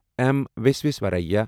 M وسویسوارایا